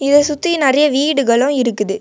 இத சுத்தி நிறைய வீடுகளு இருக்குது.